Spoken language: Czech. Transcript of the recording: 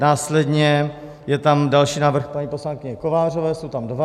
Následně je tam další návrh paní poslankyně Kovářové - jsou tam dva.